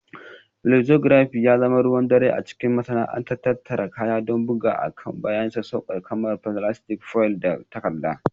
Flexography ya zama ruwan dare a cikin masana'antar tattara kaya don bugawa akan kayan sassauƙa kamar filastik, foil, da takarda